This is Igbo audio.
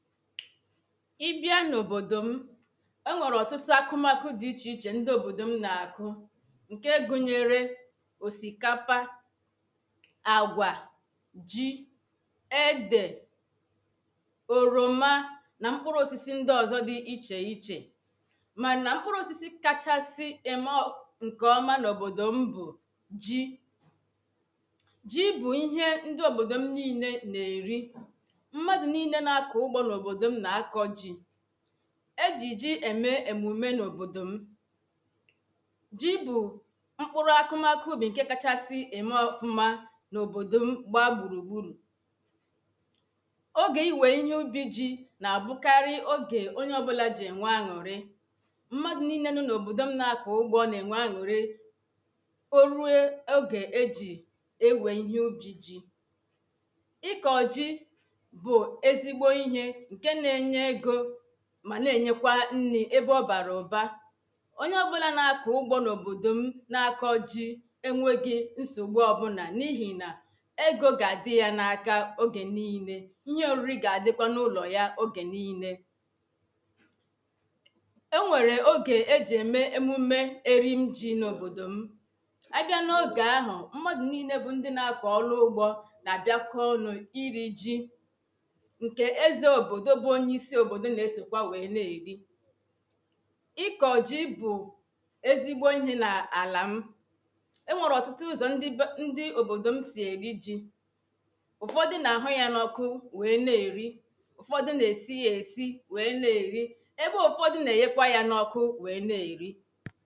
ị bịa n’obodo m o nwere ọtụtụ akụmakụ dị iche iche ndị obodo m na-akọ nke gụnyere osikapa agwa ji e de oroma na mkpụrụ osisi ndị ọzọ dị iche iche ma na mkpụrụ osisi kachasị ị maọbụ nke ọma n’obodo m bụ ji ji bụ ihe ndị obodo m niile na-eri e ji ji eme emume n’obodo m ji bụ mkpụrụ akụmakụ ubi nke kachasị eme ọkụma n’obodo m gbaa gburugburu oge iwe ihe ubi ji na-abụkarị oge onye ọbụla ji nwee aṅụrị mmadụ niile nụ n’obodo m na-akọ ugbo ọ na-enwe aṅụrị o ruo oge e ji ewee ihe ubi ji ị ka ọ ji ma na-enyekwa nri ebe ọ bara ụba onye ọ bụla na-akọ ụgbọ n'obodo m na-akọ ji enweghị nsogbu ọbụna n’ihi na ego ga-adị ya n’aka oge niile ihe ori ga-adịkwa n’ụlọ ya oge niile e nwere oge e ji eme emume eri m ji n'obodo m a bịa n’oge ahụ mmadụ niile bụ ndị na-akọ ọrụ ugbo na-abịa kọnụ iri ji ọ̀ọbụ̇ ọ̀bụdụ̇ na esikwe iwe na erì ịkọ̀ ji bụ ezigbo ihė na àlà m ị nwọ̀rọ̀ ọ̀tụtụ ụzọ ndị be ndị òbòdò m si èri ji ụ̀fọdụ na-ahụ ya nọọkụ we na-erì ụ̀fọdụ na-esie èsi we na-eri ebe ụ̀fọdụ na-enyekwa ya nọọkụ we na-erì